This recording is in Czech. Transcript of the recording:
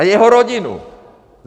A jeho rodinu!